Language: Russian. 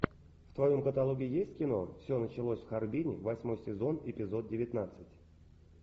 в твоем каталоге есть кино все началось в харбине восьмой сезон эпизод девятнадцать